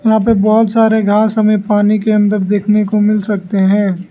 यहां पे बहुत सारे घास हमें पानी के अंदर देखने को मिल सकते हैं।